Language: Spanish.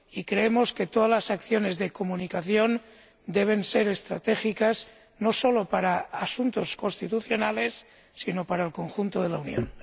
Creemos que todas las acciones de comunicación deben ser estratégicas, no solo para asuntos constitucionales, sino para el conjunto de la Unión.